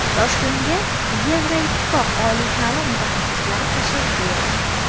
Toshkentga Yevroittifoq oliy ta’lim mutaxassislari tashrif buyurdi.